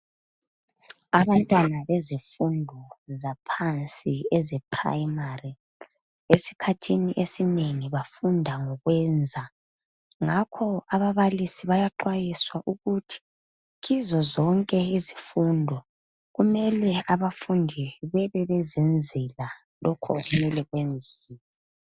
Abantwana bezifundo zaphansi eze primary, esikhathini esinengi bafunda ngokwenza. Ngakho ababalisi bayaxwayiswa ukuthi kizo zonke izifundo, kumele abafundi bebe bezenzela lokho okumele kwenziwe.